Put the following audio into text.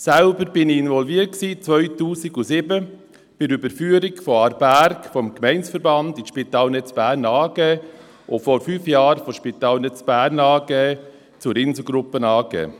Ich selbst war 2007 involviert bei der Überführung des Spitals Aarberg vom Gemeindeverband in die Spitalnetz Bern AG und vor fünf Jahren von der Spitalnetz Bern AG zur Insel Gruppe AG.